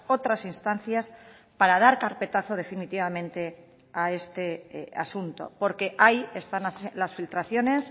otras instancias para dar carpetazo definitivamente a este asunto porque ahí están las filtraciones